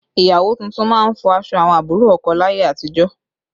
Ìyàwó tuntun máa ń fọ aṣọ àwọn àbúrò ọkọ láyé àtijọ́